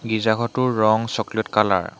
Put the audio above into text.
গীৰ্জা ঘৰটোৰ ৰং চকলেট কালাৰ ।